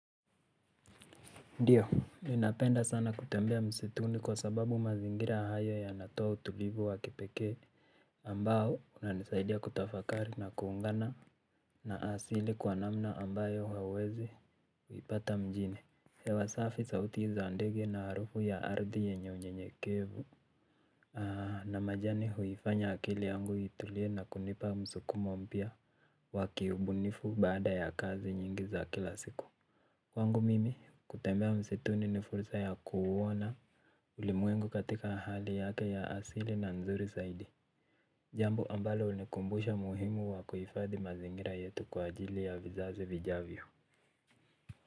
Ndiyo. Ninapenda sana kutembea msituni kwa sababu mazingira hayo yanatoa utulivu wa kipekee ambao unanisaidia kutafakari na kuungana. Na asili kwa namna ambayo hauwezi kuipata mjini. Hewa safi sauti za ndege na harufu ya ardhi yenye unyenyekevu. Ah na majani huifanya akili yangu itulie na kunipa msukumo mpya wa kiubunifu baada ya kazi nyingi za kila siku. Kwangu mimi, kutembea msituni ni fursa ya kuuona ulimwengu katika hali yake ya asili na nzuri saidi. Jambo ambalo hunikumbusha muhimu wa kuhifadhi mazingira yetu kwa ajili ya vizazi vijavyo.